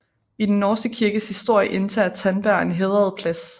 I den norske kirkes historie indtager Tandberg en hædret plads